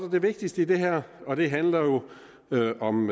det vigtigste i det her og det handler jo om